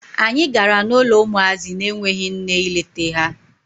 Anyị gara n'ụlọ ụmụazị na-enweghi nne ịlete ha.